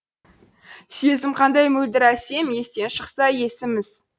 сезім қандай мөлдір әсем естен шықса есіміз